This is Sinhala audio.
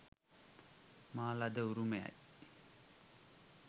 මා ලද උරුමයයි.